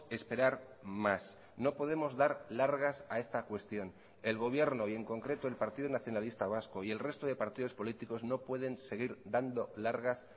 esperar más no podemos dar largas a esta cuestión el gobierno y en concreto el partido nacionalista vasco y el resto de partidos políticos no pueden seguir dando largas